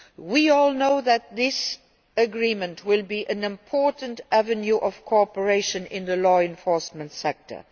We all know that this agreement will be an important avenue of cooperation in the law enforcement sector.